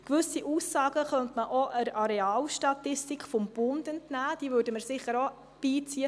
Gewisse Aussagen könnte man auch der Arealstatistik des Bundes entnehmen, diese würden wir sicher auch beiziehen.